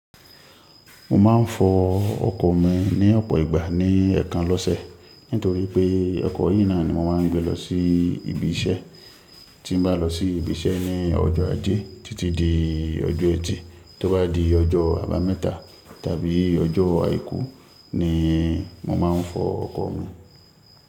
Mo máa ń fọ ọkọ̀ mi ní ọ̀pọ̀ ìgbà ní ẹ̀ẹ̀kan lọ́sẹ̀ nítorí pé ọkọ̀ yìí náà ni mo máa ń gbé lọ sí ibi iṣẹ́. Tí bá lọ sí ibi iṣẹ́ ní ọjọ́ ajé títí di ọjọ́ ẹtì. Tó bá di ọjọ́ àbámẹ́ta tàbí ọjọ́ àìkú níì mọ máa ń fọ ọkọ̀ mi.